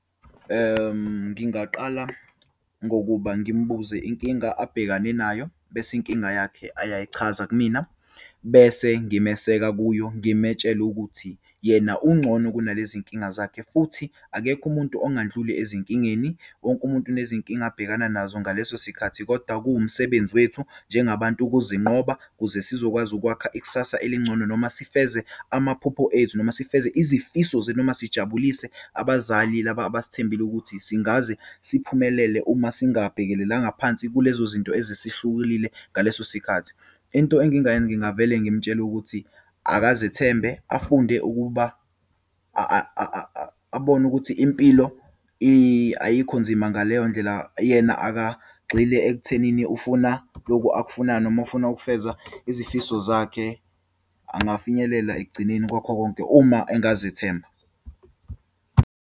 Ngingaqala ngokuba ngimbuze inkinga, abhekane nayo, bese inkinga yakhe ayayichaza kumina. Bese ngimeseke kuyo ngimetshele ukuthi yena ungcono kunalezinkinga zakhe, futhi akekho umuntu ongandluli ezinkingeni, wonke umuntu nezinkinga abhekana nazo ngaleso sikhathi. Kodwa kuwumsebenzi wethu njengabantu ukuzinqoba, kuze sizokwazi ukwakha ikusasa elingcono, noma sifeze amaphupho ethu, noma sifeze izifiso zethu, noma sijabulise abazali laba abasithembile ukuthi singaze siphumelele uma singabhekelelanga phansi kulezozinto eze esihlukulile ngaleso sikhathi. Into engingayenza ngingavele ngimtshele ukuthi akazethembe, afunde ukuba abone ukuthi impilo ayikho nzima ngaleyo ndlela. Yena akagxile ekuthenini ufuna lokhu akufunayo, noma ufuna ukufeza izifiso zakhe, angafinyelela ekugcineni kwakho konke, uma engazethemba.